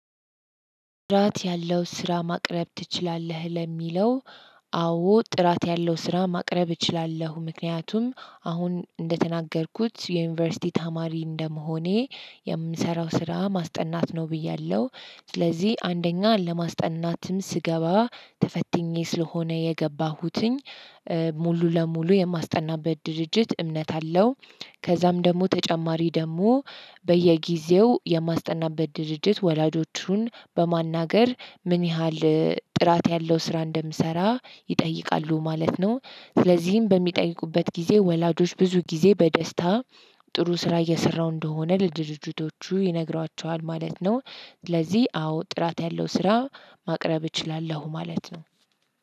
ጥራት ያለው ስራ ማቅረብ ትችላለህ ለሚለው? አዎ ጥራት ያለው ስራ ማቅረብ እችላለሁ ምክንያቱም አሁን እንደተናገርኩት የዩኒቨርሲቲ ታማሪ እንደመሆኔ የምንሰራው ስራ ማስጠናት ነው ብያለሁ ስለዚህ አንደኛ ለማስጠናትም ስገባ ተፈትኜ ስለሆነ የገባሁትኝ ሙሉ ለሙሉ የማስጠናበት ድርጅት እምነት አለው። ከዛም ደግሞ ተጨማሪ ደግሞ በየጊዜው የማስጠናበት ድርጅት ወላጆቹን በማናገር ምን ያህል ጥራት ያለው ስራ እንደምሰራ ይጠይቃሉ ማለት ነው። ስለዚህም በሚጠይቁበት ጊዜ ወላጆች ብዙ ጊዜ በደስታ ጥሩ ስራ እየሰራው እንደሆነ ለድርጅቶቹ ይነግሯቸዋል ማለት ነው። ስለዚህ አዎ ጥራት ያለው ስራ ማቅረብ እችላለሁ ማለት ነው።